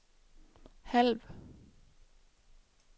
halv